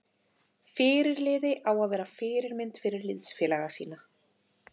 Fyrirliði á að vera fyrirmynd fyrir liðsfélaga sína.